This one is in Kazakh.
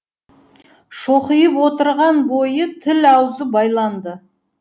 шоқиып отырған бойы тіл аузы байланды